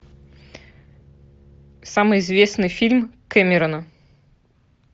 самый известный фильм кэмерона